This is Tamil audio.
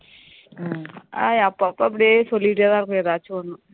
அப்போ அப்போ அப்படியே சொல்லிகிட்டு தான் இருக்கும் ஏதாவது ஒண்ணு